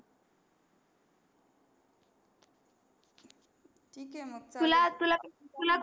ठीक आहे मग